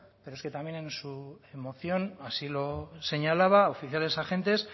pero es que también en su moción así lo señalaba oficiales agentes